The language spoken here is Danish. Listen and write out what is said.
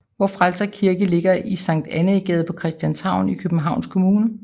Vor Frelsers Kirke ligger i Sankt Annæ Gade på Christianshavn i Københavns Kommune